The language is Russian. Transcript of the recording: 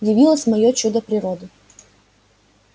явилось моё чудо природы